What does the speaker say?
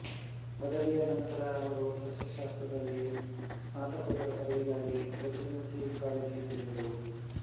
ಪದವಿಯ ನಂತರ ಅವರು ಸಸ್ಯಶಾಸ್ತ್ರದಲ್ಲಿ ಸ್ನಾತಕೋತ್ತರ ಪದವಿಗಾಗಿ ಪ್ರೆಸಿಡೆನ್ಸಿ ಕಾಲೇಜಿಗೆ ಸೇರಿದರು